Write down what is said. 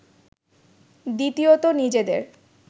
দ্বিতীয়ত নিজেদের